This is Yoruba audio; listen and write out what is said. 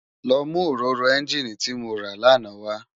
Lò mú óróró ènginí ti mó rá làná wá